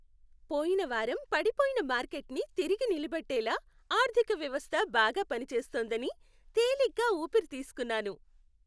పోయిన వారం పడిపోయిన మార్కెట్ని తిరిగి నిలబెట్టేలా ఆర్థిక వ్యవస్థ బాగా పనిచేస్తోందని తేలిగా ఊపిరి తీస్కున్నాను.